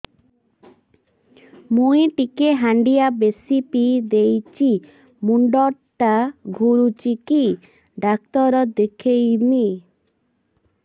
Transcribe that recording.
ମୁଇ ଟିକେ ହାଣ୍ଡିଆ ବେଶି ପିଇ ଦେଇଛି ମୁଣ୍ଡ ଟା ଘୁରୁଚି କି ଡାକ୍ତର ଦେଖେଇମି